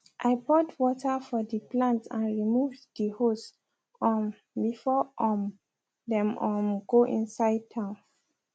i poured water for de plant and removed de hose um before um dem um go inside town